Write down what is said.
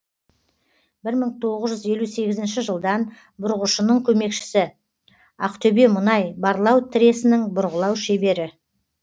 бір мың тоғыз жүз елу сегізінші жылдан бұрғышының көмекшісі ақтөбемұнай барлау тресінің бұрғылау шебері